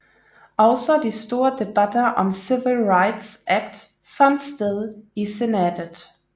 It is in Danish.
Også de store debatter om Civil Rights Act fandt sted i Senatet